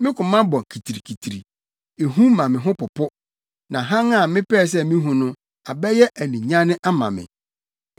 Me koma bɔ kitirikitiri, ehu ma me ho popo; na hann a mepɛɛ sɛ mihu no abɛyɛ aninyanne ama me.